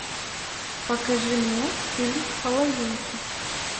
покажи мне фильм половинки